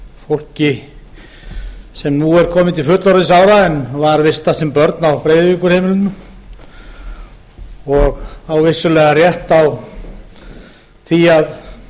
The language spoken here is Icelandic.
fólki sem nú er komið til fullorðinsára en var vistað sem börn á breiðavíkurheimilinu og á vissulega rétt á því að